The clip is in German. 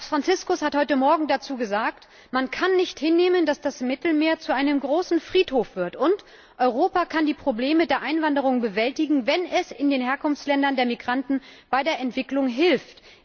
Papst Franziskus hat heute Morgen dazu gesagt Man kann nicht hinnehmen, dass das Mittelmeer zu einem großen Friedhof wird und Europa kann die Probleme der Einwanderung bewältigen, wenn es in den Herkunftsländern der Migranten bei der Entwicklung hilft.